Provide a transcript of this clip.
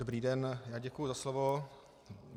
Dobrý den, já děkuji za slovo.